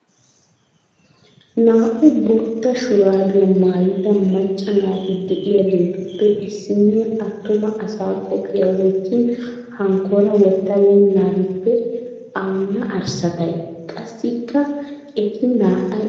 Naa"u bootta shuraabiya maayida macca naati de'iyaageetuppe issiniyaa attuma asaa qophiyaa wottin hankora wottabeennarippe awunna arssatay? Qassikka eti naa"ay oyqqidoogee aybee?